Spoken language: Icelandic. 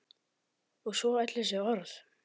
Og svo öll þessi orð.